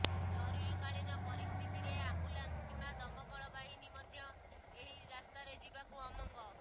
ଜରୁରୀ କାଳୀନ ପରିସ୍ଥିତିରେ ଆମ୍ବୁଲାନ୍ସ କିମ୍ବା ଦମକଳ ବାହିନୀ ମଧ୍ୟ ଏହି ରାସ୍ତାରେ ଯିବାକୁ ଅମଙ୍ଗ